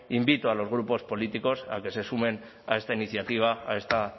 invito a los grupos políticos a que se sumen a esta iniciativa a esta